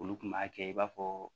Olu kun b'a kɛ i b'a fɔ